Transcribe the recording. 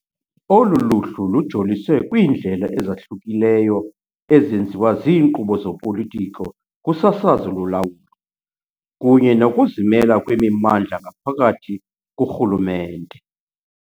Olu luhlu lujolise kwiindlela ezahlukileyo ezenziwa ziinkqubo zopolitiko kusasazo lolawulo, kunye nokuzimela kwemimandla ngaphakathi kurhulumente.